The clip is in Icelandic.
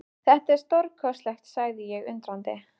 Þetta er stórkostlegt sagði ég undrandi.